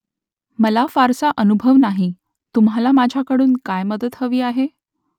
मला फारसा अनुभव नाही . तुम्हाला माझ्याकडून काय मदत हवी आहे ?